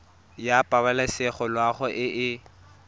ya pabalesego loago e e